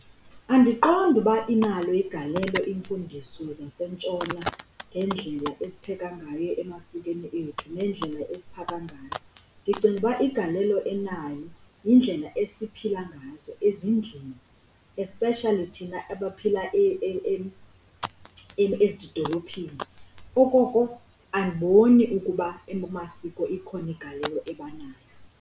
Andiqondi uba inalo igalelo iimfundiso zasentshona ngeendlela esipheka ngayo emaswakweni ethu neendlela esiphaka ngayo. Ndicinga uba igalelo enayo yindlela esiphila ngazo ezindlini, especially thina abaphila ezidolophini. Okokoko andiboni ukuba kumasiko ikhona igalelo eba nayo.